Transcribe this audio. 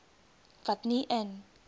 wat nie in